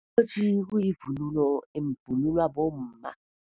Isikotjhi kuyivunulo, evunulwa bomma.